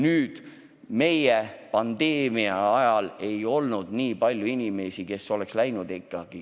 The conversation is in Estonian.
Meie äsjase pandeemia ajal ei olnud neid inimesi nii palju, kes oleks haiglasse viidud.